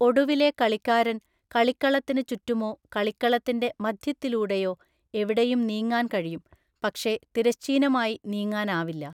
ഒടുവിലെ കളിക്കാരൻ കളിക്കളത്തിനു ചുറ്റുമോ കളിക്കളത്തിൻ്റെ മധ്യത്തിലൂടെയോ എവിടെയും നീങ്ങാൻ കഴിയും, പക്ഷേ തിരശ്ചീനമായി നീങ്ങാനാവില്ല.